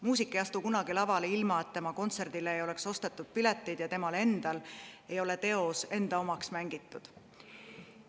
Muusik ei astu kunagi lavale, ilma et tema kontserdile ei oleks ostetud pileteid ja tal endal ei ole teos enda omaks mängitud.